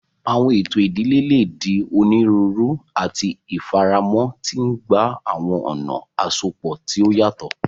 Awọn eto idile le di oniruuru ati ifaramọ, ti ngba awọn ọna asopọ ti o yatọ.